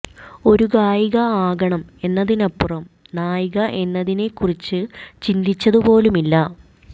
ഒരു ഗായിക ആകണം എന്നതിനപ്പുറം നായിക എന്നതിനെ കുറിച്ച് ചിന്തിച്ചതു പോലുമില്ല